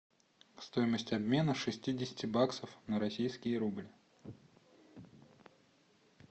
стоимость обмена шестидесяти баксов на российский рубль